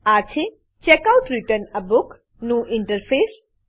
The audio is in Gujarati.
આ છે checkoutરિટર્ન a book checkout return a book નું ઈન્ટરફેસ